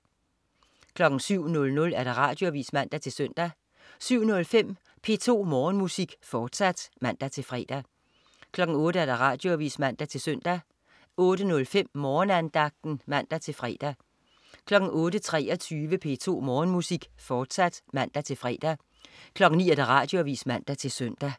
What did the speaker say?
07.00 Radioavis (man-søn) 07.05 P2 Morgenmusik, fortsat (man-fre) 08.00 Radioavis (man-søn) 08.05 Morgenandagten (man-fre) 08.23 P2 Morgenmusik, fortsat (man-fre) 09.00 Radioavis (man-søn)